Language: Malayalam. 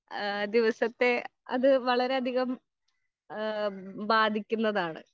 ഏഹ് ദിവസത്തെ അത് വളരെ അധികം ഏഹ് ബാധിക്കുന്നതാണ്.